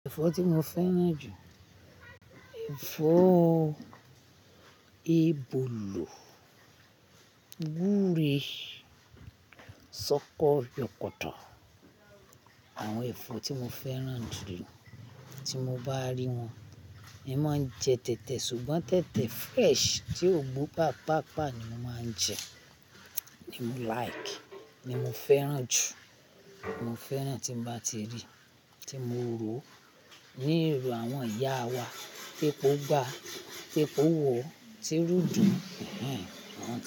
Ẹ̀fọ́ tí mo fẹ́ràn jù, ẹ̀fọ́ ebóló, gúre, ṣọkọ, yọkọ̀tọ̀. Àwọn ẹ̀fọ́ tí mo fẹ́ràn jù lọ tí mo bá rí wọn, èmi máa ń jẹ tẹ̀tẹ̀ ṣùgbọ́n tẹ̀tẹ̀ fresh tí ó gbó pàápàá ni mo máa ń jẹ, ni mo like, ni mo fẹ́ràn jù. Mo fẹ́ràn tí mo bá ti rí, tí mo rò ó ní irò àwọn ìyá wa, tí epo gbá, tí epo wọ̀, tí rù dùn, hinhn, àwọn.